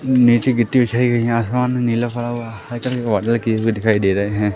नीचे गिट्टी बिछाई गई है आसमान नीला पड़ा हुआ है दिखाई दे रहे हैं।